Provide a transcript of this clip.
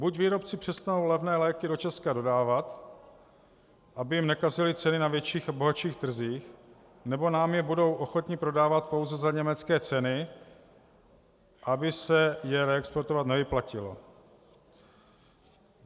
Buď výrobci přestanou levné léky do Česka dodávat, aby jim nekazily ceny na větších a bohatších trzích, nebo nám je budou ochotni prodávat pouze za německé ceny, aby se je reexportovat nevyplatilo.